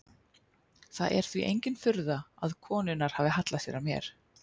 Það er því engin furða þótt konurnar hafi hallað sér að mér.